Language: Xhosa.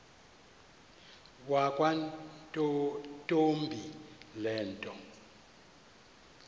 yakwantombi le nto